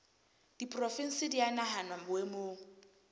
diporofensi di a nahanwa boemong